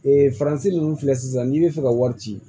Ee faransi ninnu filɛ sisan n'i bɛ fɛ ka wari ci